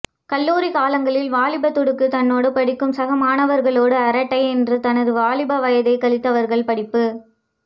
கல்லூரி காலங்களில் வாலிப துடுக்கு தன்னோடு படிக்கும் சக மாணவர்களோடு அரட்டை என்று தனது வாலிப வயதை கழித்தவர்கள் படிப்பு